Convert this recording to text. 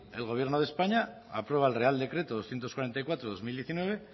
el gobierno de españa aprueba el real decreto doscientos cuarenta y cuatro barra dos mil diecinueve